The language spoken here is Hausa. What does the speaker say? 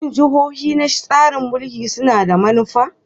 Shin jihohi na tsarin mulkin suna da manufa?